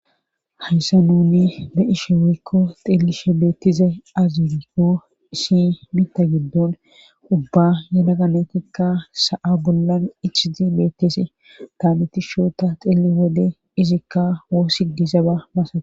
hayssa nuni be'ishe weikko xillishe beettize aziko shi mitta giddon ubba yadaga natikka sa7a gollan ichizi beettesi taanetishoota xilli wode izikka oo sidizaba masao